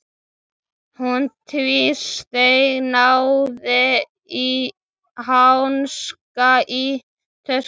Hún tvísteig, náði í hanska í töskunni.